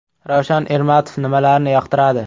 Ravshan Ermatov nimalarni yoqtiradi?.